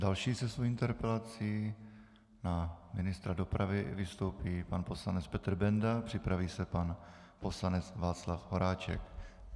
Další se svou interpelací na ministra dopravy vystoupí pan poslanec Petr Bendl, připraví se pan poslanec Václav Horáček.